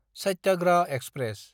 Satyagraha express